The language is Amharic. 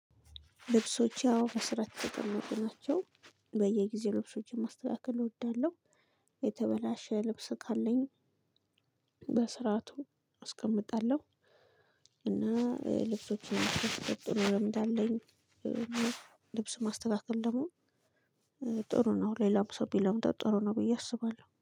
ልብሶቼ አዎ በስርዓት የተቀመጡ ናቸው። በየጊዜው ልብሶችን ማስተካከል እወዳለሁ። የተበላሸ ልብስ ካለኝ። በስርዓቱ አስቀምጣለሁ። እና ልብሶችን ቀጥሎ ለምድ አለኝ። ልብሱን ማስተካከል ደግሞ ጥሩ ነው። ሌላም ሰው ቢለምደው ጥሩ ነው ብዬ አስባለሁ